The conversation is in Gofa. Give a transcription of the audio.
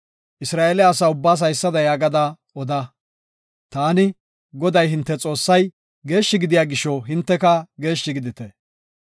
Isra7eele asa ubbaas haysada yaagada oda; “Taani, Goday, hinte Xoossay, geeshshi gidiya gisho, hinteka geeshshi gidite.